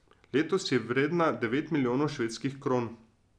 Letos je vredna devet milijonov švedskih kron.